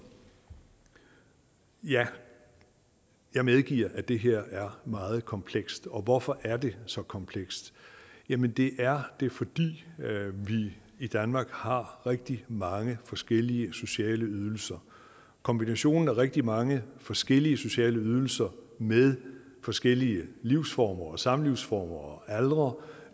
ja jeg medgiver at det her er meget komplekst og hvorfor er det så komplekst jamen det er det fordi vi i danmark har rigtig mange forskellige sociale ydelser kombinationen af rigtig mange forskellige sociale ydelser med forskellige livsformer samlivsformer og aldre